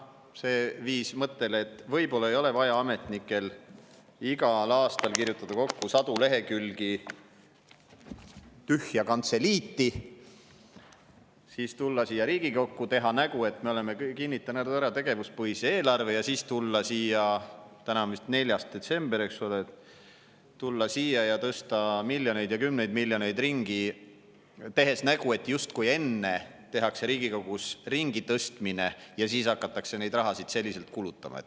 See viis mõttele, et võib-olla ei ole vaja ametnikel igal aastal kirjutada sadu lehekülgi tühja kantseliiti, siis tulla Riigikokku, teha nägu, et me oleme kinnitanud ära tegevuspõhise eelarve, ja siis tulla siia – täna on vist 4. detsember – ja tõsta miljoneid ja kümneid miljoneid ringi, tehes nägu, justkui enne tehakse Riigikogus ringitõstmine ja siis hakatakse seda raha selliselt kulutama.